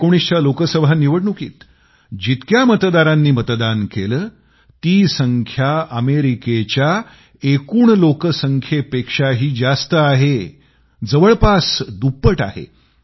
2019च्या लोकसभा निवडणुकीत जितक्या मतदारांनी मतदान केले ती संख्या अमेरिकेच्या एकूण लोकसंख्येपेक्षाही जास्त आहे जवळपास दुप्पट आहे